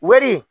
Wari